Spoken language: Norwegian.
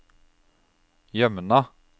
Jømna